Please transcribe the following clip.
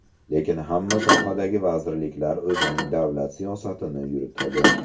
Lekin hamma sohadagi vazirliklar o‘zining davlat siyosatini yuritadi.